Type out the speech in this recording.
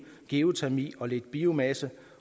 geotermi og lidt biomasse